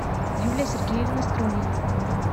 юлия сергеевна струнина